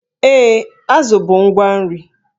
Ee, azụ bụ ngwa nri.